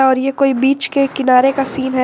और ये कोई बिच के किनारे का सीन है।